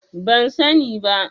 Ban sani ba.